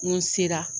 N ko n sera